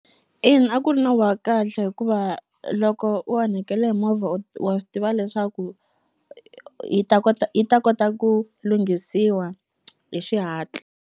Ina, a ku ri nawu wa kahle hikuva loko u onhakele hi movha wa swi tiva leswaku yi ta kota yi ta kota ku lunghisiwa hi xihatla.